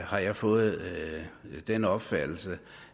har jeg fået den opfattelse